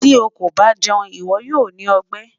Ti o ko ba jẹun, iwọ yoo ni ọgbẹ